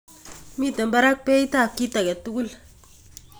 Miten barak beit tab kituguik.